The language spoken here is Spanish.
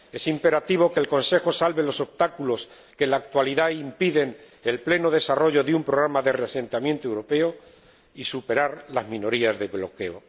Es imperativo que el Consejo salve los obstáculos que en la actualidad impiden el pleno desarrollo de un programa de reasentamiento europeo, y superar las minorías de bloqueo.